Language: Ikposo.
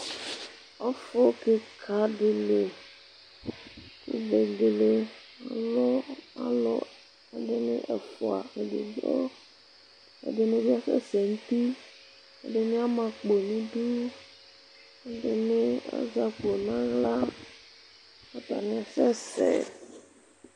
ɔfu keka di li kò vegele alu alò ɛdini ɛfua edigbo ɛdini bi asɛ sɛ n'uti ɛdini ama akpo n'idu ɛdini azɛ akpo n'ala k'atani asɛ sɛ.